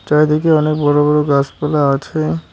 চারিদিকে অনেক বড় বড় গাছপালা আছে।